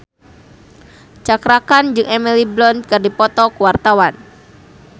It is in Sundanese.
Cakra Khan jeung Emily Blunt keur dipoto ku wartawan